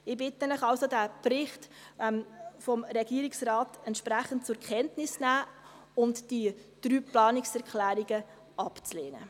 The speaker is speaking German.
Ich bitte Sie also, diesen Bericht des Regierungsrates entsprechend zur Kenntnis zu nehmen und die drei Planungserklärungen abzulehnen.